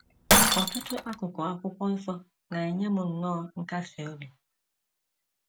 Ọtụtụ akụkụ Akwụkwọ Nsọ na - enye m nnọọ nkasi obi.